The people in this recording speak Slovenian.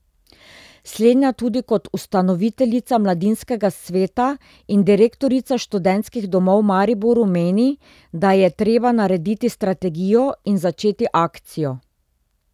Slednja tudi kot ustanoviteljica mladinskega sveta in direktorica Študentskih domov Mariboru meni, da je treba narediti strategijo in začeti akcijo.